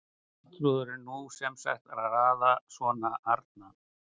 Arnþrúður en nú er sem sagt raðað svona: Arna